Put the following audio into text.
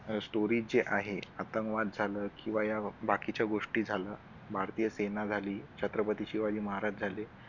अह stories जे आहे ना आतंकवाद झालं किंवा या बाकीच्या गोष्टी झालं भारतीय सेना झाली. छत्रपती शिवाजी महाराज झाले.